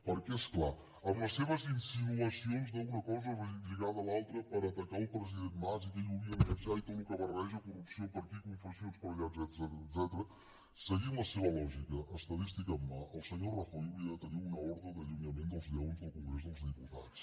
perquè és clar amb les seves insinuacions d’una cosa lligada a l’altra per atacar el president mas i que ell hauria de marxar i tot el que barreja corrupció per aquí confessions per allà etcètera seguint la seva lògica estadística en mà el senyor rajoy hauria de tenir una ordre d’allunyament dels lleons del congrés dels diputats